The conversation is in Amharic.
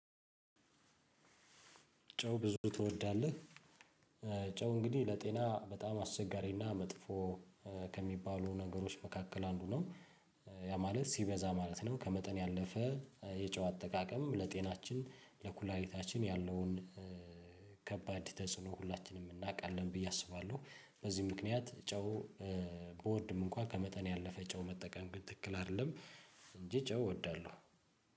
ጨው ብዙ ትወዳለህ? ጨው እንግዲህ ለጤና በጣም አስቸጋሪና መጥፎ ከሚባሉ ነገሮች መካከል አንዱ ነው ያ ማለት ሲበዛ ማለት ነው። ከመጠን ያለፈ የጨው አጠቃቀምም ለጤናችን ለኩላሊታችን ያለውን ከባድ ተጽዕኖ ሁላችንም እናውቃለን ብዬ አስባለሁ። በዚህ ምክንያት ጨው ብወድም እንኳን ከመጠን ያለፈ ጨው መጠቀም ግን ትክክል አይደለም። እንጂ ጨው እወዳለሁ።